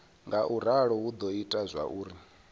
ngauralo hu do ita zwauri